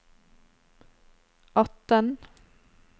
atten